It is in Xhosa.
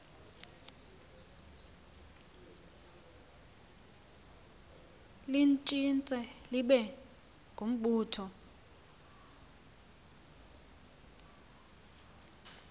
litshintshe libe ngumbutho